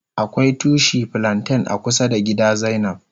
Akwai tushi flanten a kusa da gida zainab.